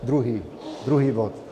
Druhý, druhý bod.